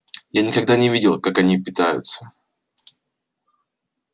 я никогда не видел как они питаются